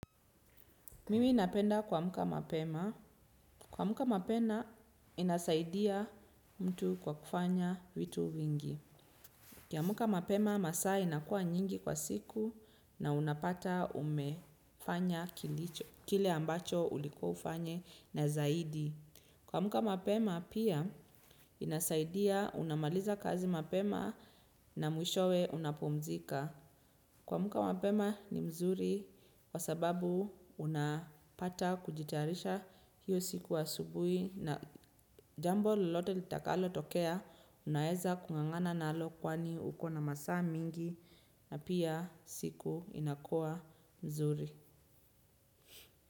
Mimi ninapenda kuamuka mapema. Kuamuka mapema inasaidia mtu kwa kufanya vitu vingi. Kiamuka mapema masaa inakua nyingi kwa siku na unapata umefanya kile ambacho ulikuwa ufanye na zaidi. Kuamuka mapema pia inasaidia unamaliza kazi mapema na mwishowe unapumzika. Kuamuka wapema ni mzuri kwa sababu unapata kujitayarisha hiyo siku wa asubui na jambo lolote litakalo tokea unaeza kungangana nalo kwani uko na masaa mingi na pia siku inakuwa mzuri.